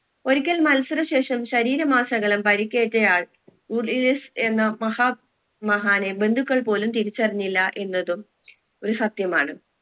ഒരിക്കൽ മത്സര ശേഷം ശരീരമാസകലം പരിക്കേറ്റയാൾ എന്ന മഹാ മഹാനെ ബന്ധുക്കൾ പോലും തിരിച്ചറിഞ്ഞില്ല എന്നതും ഒരു സത്യമാണ്